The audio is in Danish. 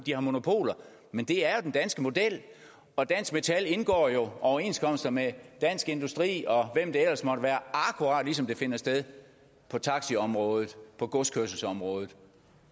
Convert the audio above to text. har monopoler men det er jo den danske model og dansk metal indgår jo overenskomster med dansk industri og hvem det ellers måtte være akkurat ligesom det finder sted på taxaområdet på godskørselsområdet